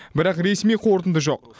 бірақ ресми қорытынды жоқ